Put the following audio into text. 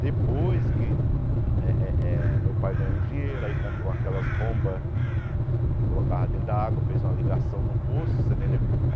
Depois que eh eh meu pai ganhou o dinheiro, aí comprou aquelas bombas, colocava dentro da água, fez uma ligação no poço, você entendeu?